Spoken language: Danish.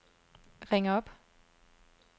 ring op